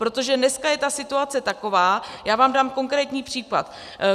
Protože dneska je ta situace taková - já vám dám konkrétní příklady.